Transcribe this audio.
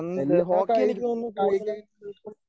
എല്ലാ കായിക കായികയിനങ്ങൾക്കും